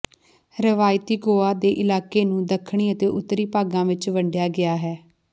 ਰਵਾਇਤੀ ਗੋਆ ਦੇ ਇਲਾਕੇ ਨੂੰ ਦੱਖਣੀ ਅਤੇ ਉੱਤਰੀ ਭਾਗਾਂ ਵਿੱਚ ਵੰਡਿਆ ਗਿਆ ਹੈ